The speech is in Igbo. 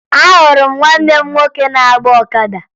Ahụrụ m nwanne m nwoke na-agba ọkada